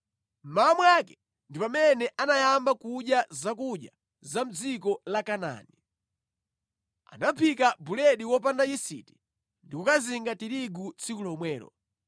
Mmawa mwake ndi pamene anayamba kudya zakudya za mʼdziko la Kanaani. Anaphika buledi wopanda yisiti ndi kukazinga tirigu tsiku lomwelo.